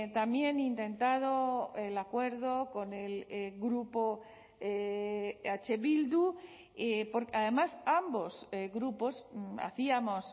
también intentado el acuerdo con el grupo eh bildu además ambos grupos hacíamos